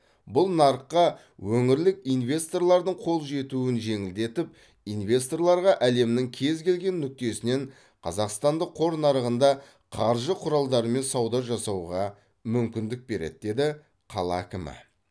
бұл нарыққа өңірлік инвесторлардың қол жетуін жеңілдетіп инвесторларға әлемнің кез келген нүктесінен қазақстандық қор нарығында қаржы құралдарымен сауда жасауға мүмкіндік береді деді қала әкімі